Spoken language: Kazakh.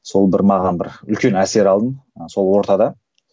сол бір маған бір үлкен әсер алдым ыыы сол ортада